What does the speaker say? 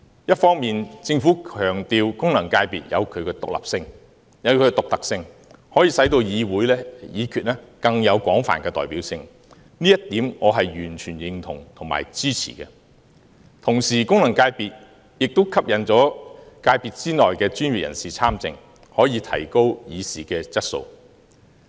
一方面，政府強調功能界別有其獨特性，可以令議會議決更有廣泛代表性，這一點我是完全認同和支持的。同時，功能界別可吸引界別內的專業人士參政，提高議事的質素。